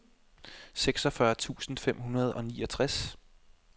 seksogfyrre tusind fem hundrede og niogtres